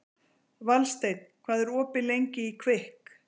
Valsteinn, hvað er opið lengi í Kvikk?